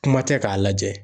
Kuma tɛ k'a lajɛ.